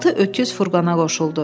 Altı öküz furqana qoşuldu.